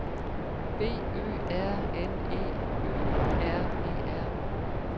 B Ø R N E Ø R E R